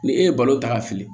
Ni e ye balo ta ka fili